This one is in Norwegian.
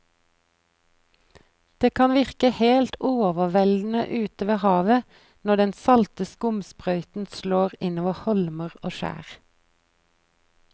Det kan virke helt overveldende ute ved havet når den salte skumsprøyten slår innover holmer og skjær.